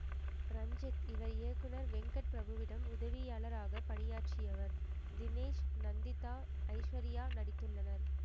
இரஞ்சித் இவர் இயக்குனர் வெங்கட் பிரபுவிடம் உதவியாளராக பணியாற்றியவர் தினேஸ் நந்திதா ஐஸ்வரியா நடித்துள்ளனர்